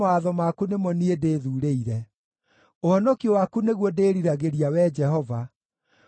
Ũhonokio waku nĩguo ndĩĩriragĩria, Wee Jehova, naguo watho waku nĩguo ngenagĩra.